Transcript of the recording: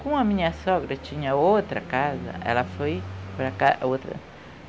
Como a minha sogra tinha outra casa, ela foi para a ca outra.